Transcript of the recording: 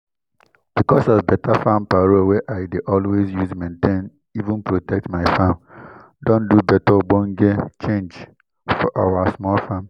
because of beta farm paro wey i dey always use maintain even protect my farm don do beta ogbonge change for our small farm